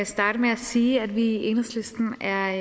starte med at sige at vi i enhedslisten er